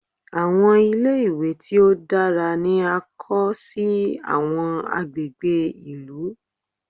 Àwọn ilé-ìwé tí ó dára ni a ó kọ́ sí àwọn agbègbè ìlú.